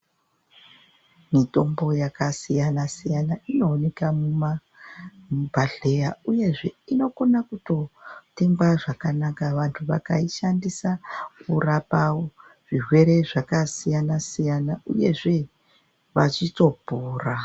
Mitombo yakasiyana siyana inoonekwa mumazvibhedhlera uyezve inokona kutengwa zvakanaka vantu vakaishandisa kurapa zvirwere zvakasiyana siyana uyezve vachitopora.